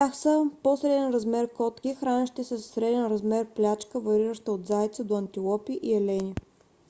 под тях са по - среден размер котки хранещи се със среден размер плячка варираща от зайци до антилопи и елени